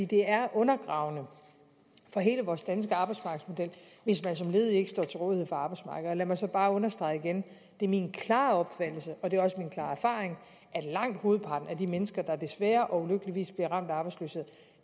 det er undergravende for hele vores danske arbejdsmarkedsmodel hvis man som ledig ikke står til rådighed for arbejdsmarkedet og lad mig så bare understrege igen det er min klare opfattelse og det er også min klare erfaring at langt hovedparten af de mennesker der desværre og ulykkeligvis bliver ramt af arbejdsløshed